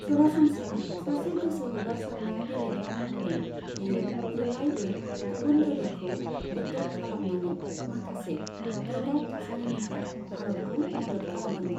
सरासनस्रा सासे गोसो हगारसारना गेलेग्रा महरै, बियो जेब्लायबो गुबुन दोलोखौ एटेक खालामनानै माखासे गोब्राब थासारिनिफ्राय भारतखौ मदद खालादोंमोन।